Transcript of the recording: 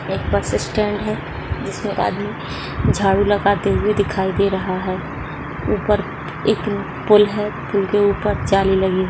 एक bus stand है जिसमे एक आदमी झाड़ू लगाते हुए दिखाई दे रहा है ऊपर एक पुल है पुल के ऊपर जाली लगी है।